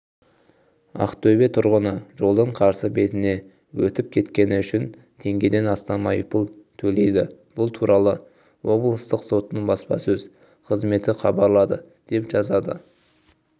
ақтөбе тұрғыны жолдың қарсы бетіне өтіп кеткені үшін теңгеден астам айыппұл төлейді бұл туралы облыстық соттың баспасөз қызметі хабарлады деп жазады